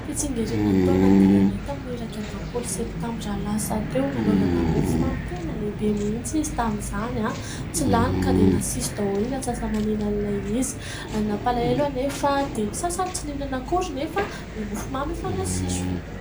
Fitsingerenan'ny taona an'i dadanay tamin'ny iraika ambiroapolo septambra lasa teo, nanaovana mofomamy tena lehibe mihitsy izy tamin'izany; tsy lany ka dia nasiso daholo ny atsasaman'ilan'ilay izy. Nampalahelo anefa dia ny sasany tsy nihinana akory nefa ilay mofomamy efa nasiso.